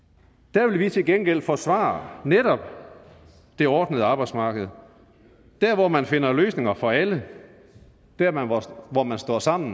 der vil vi til gengæld forsvare netop det ordnede arbejdsmarked der hvor man finder løsninger for alle der hvor man står sammen